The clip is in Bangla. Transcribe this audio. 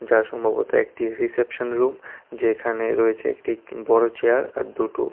এটা সম্ভবত একটি রিসেপশন রুম যেখানে রয়েছে একটি বড় চেয়ার আর দুটো--